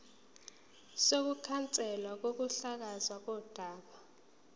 sokukhanselwa kokuhlakazwa kodaba